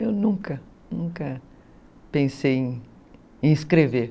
Eu nunca, nunca pensei em escrever.